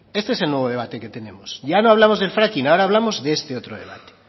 ese es el nuevo debate que tenemos ya no hablamos del fracking ahora hablamos de este otro debate